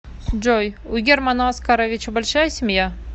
джой у германа оскаровича большая семья